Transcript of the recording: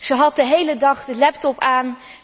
Zij had de hele dag de laptop aan.